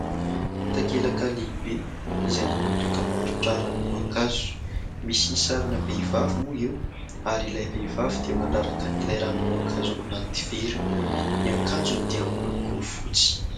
Takelaka lehibe izay manao dokam-barotra ranom-boankazo ; misy sarina vehivavy moa eo ary ilay vehivavy dia mandraraka an'ilay ranom-boankazo ao anaty vera, ny akanjony dia miloko fotsy.